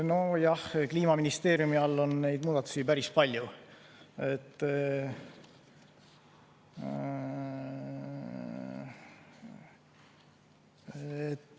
Nojah, Kliimaministeeriumi all on muudatusi päris palju.